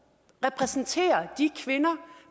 repræsenterer de kvinder